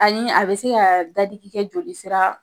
Ani a be se ka dadigi kɛ joli sira